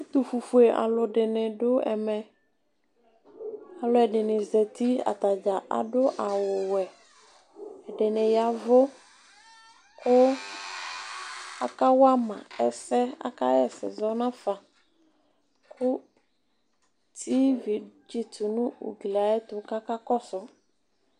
Ɛtufufye alʋ dini dʋ ɛmɛ alʋɛdini zati atadza adʋ awʋwɛ ɛdini ya ɛvʋ kʋ akaxa ɛsɛ zɔnafa kʋ tivi tsitʋ nʋ ugli ayʋ ɛtʋ kʋ aka kɔsʋ